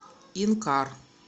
инкар